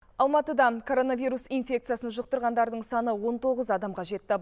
алматыдан коронавирус инфекциясын жұқтырғандардың саны он тоғыз адамға жетті